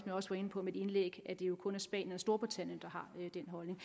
jeg også var inde på i mit indlæg at det jo kun er spanien og storbritannien der har den holdning